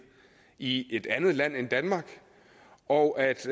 i et andet land end danmark og